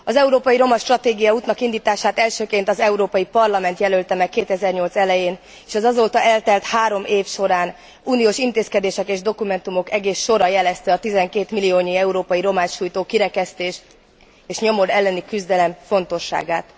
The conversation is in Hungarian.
Az európai romastratégia útnak indítását elsőként az Európai Parlament jelölte meg 2008 elején, és az azóta eltelt három év során uniós intézkedések és dokumentumok egész sora jelezte a 12 milliónyi európai romát sújtó kirekesztés és nyomor elleni küzdelem fontosságát.